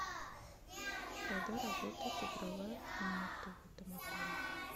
когда работает игровая комната в этом отеле